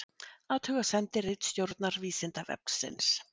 Athugasemd ritstjórnar Vísindavefsins